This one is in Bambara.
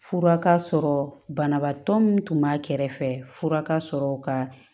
Fura ka sɔrɔ banabaatɔ min tun b'a kɛrɛfɛ fura ka sɔrɔ ka